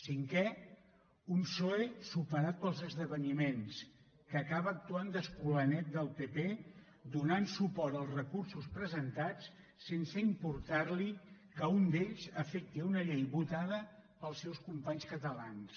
cinquè un psoe superat pels esdeveniments que acaba actuant d’escolanet del pp donant suport als recursos presentats sense importar li que un d’ells afecti una llei votada pels seus companys catalans